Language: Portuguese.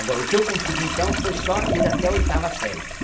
Agora, o que eu consegui, então, foi só ir até a oitava série.